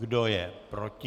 Kdo je proti?